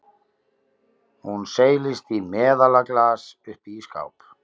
Hún seilist í meðalaglas uppi í skáp.